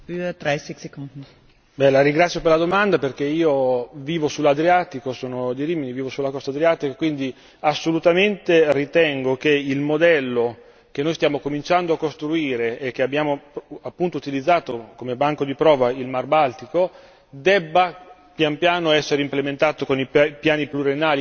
La ringrazio per la domanda, perché io vivo sull'Adriatico, sono di Rimini, vivo sulla costa adriatica, quindi assolutamente ritengo che il modello che noi stiamo cominciando a costruire e che abbiamo appunto utilizzato come banco di prova nel Mar Baltico, debba, pian piano, essere implementato con i piani pluriennali anche in altri bacini,